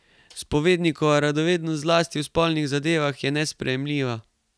Spovednikova radovednost, zlasti v spolnih zadevah, je nesprejemljiva.